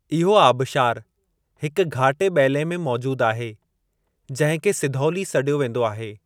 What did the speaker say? इहो आबशारु हिक घाटे ॿेले में मौजूदु आहे जंहिं खे सिधौली सॾियो वेंदो आहे।